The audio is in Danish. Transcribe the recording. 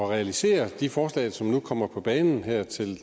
realisere de forslag som nu kommer på banen her til